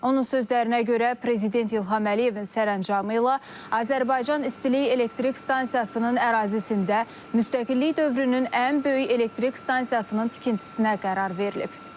Onun sözlərinə görə prezident İlham Əliyevin sərəncamı ilə Azərbaycan İstilik Elektrik Stansiyasının ərazisində müstəqillik dövrünün ən böyük elektrik stansiyasının tikintisinə qərar verilib.